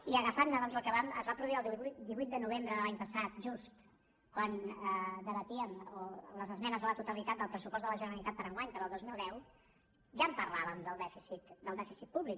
i agafant doncs el que es va produir el divuit de novembre de l’any passat just quan debatíem les esmenes a la totalitat del pressupost de la generalitat per a enguany per al dos mil deu ja en parlàvem del dèficit públic